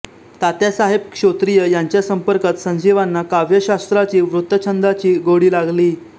तात्यासाहेब श्रोत्रिय यांच्या संपर्कात संजीवांना काव्यशास्त्राची वृत्तछंदांची गोडी लागली